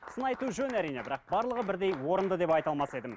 сын айту жөн әрине бірақ барлығы бірдей орынды деп айта алмас едім